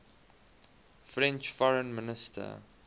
french foreign minister